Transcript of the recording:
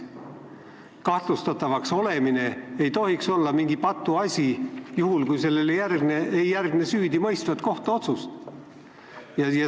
Kahtlustatavaks olemine ei tohiks olla mingi patuasi, juhul kui sellele ei järgne süüdimõistvat kohtuotsust.